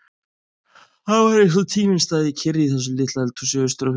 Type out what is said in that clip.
Það var eins og tíminn stæði kyrr í þessu litla eldhúsi austur á fjörðum.